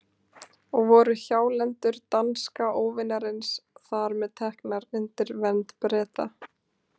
Og voru hjálendur danska óvinarins þar með teknar undir vernd Breta.